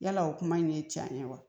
Yala o kuma in ye can ye wa